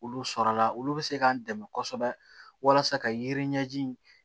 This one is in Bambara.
Olu sɔrɔla olu bɛ se k'an dɛmɛ kosɛbɛ walasa ka yiri ɲɛji